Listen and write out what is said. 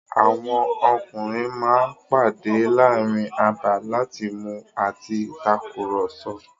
Àwọn ọkùnrin ma ń pàdé láàrin abà láti mu àti takùrọ̀sọ̀.